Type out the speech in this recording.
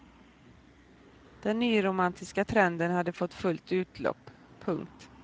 Den nyromantiska trenden hade fått fullt utlopp. punkt